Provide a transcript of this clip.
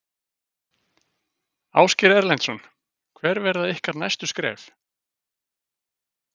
Ásgeir Erlendsson: Hver verða ykkar næstu skref?